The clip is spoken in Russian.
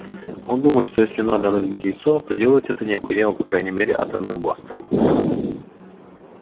он думает что если надо разбить яйцо то делать это необходимо по крайней мере атомным бластером